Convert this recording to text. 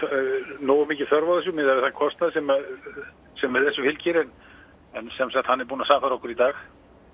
nógu mikil þörf á þessu miðað við þann kostnað sem þessu fylgir en hann er búinn að sannfæra okkur í dag